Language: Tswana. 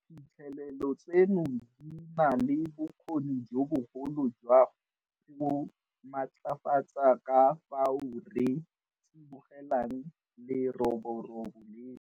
Diphitlhelelo tseno di na le bokgoni jo bogolo jwa go matlafatsa ka fao re tsibogelang leroborobo leno.